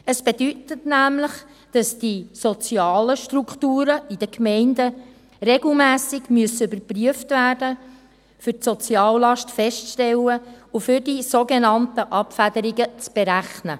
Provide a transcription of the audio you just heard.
Es bedeutet nämlich, dass die sozialen Strukturen in den Gemeinden regelmässig überprüft werden müssen, um die Soziallast festzustellen und um die sogenannten Abfederungen zu berechnen.